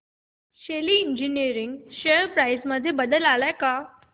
शेली engineering share price मध्ये बदल आलाय का